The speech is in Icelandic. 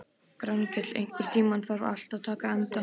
Grankell, einhvern tímann þarf allt að taka enda.